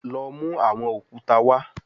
Lọ mu awọn okuta wa